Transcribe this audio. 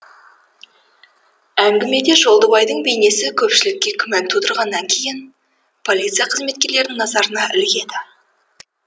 әңгімеде жолдыбайдың бейнесі көпшілікке күмән тудырғаннан кейін полиция қызметкерлерінің назарына ілігеді